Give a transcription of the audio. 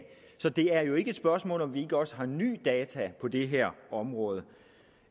så det er jo ikke et spørgsmål om at vi ikke også har nye data på det her område